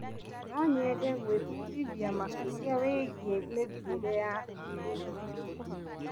No nyende gwĩbundithia makĩrĩa wĩgiĩ mĩthiĩre ya kĩrĩu.